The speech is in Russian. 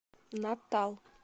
натал